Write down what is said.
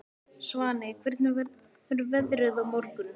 Svaney, hvernig verður veðrið á morgun?